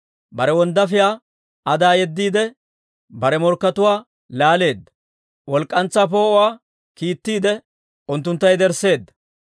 Bare wonddaafiyaa Adaa yeddiide, bare morkkatuwaa laaleedda. Walk'k'antsaa poo'uwaa kiittiide, unttuntta yedersseedda.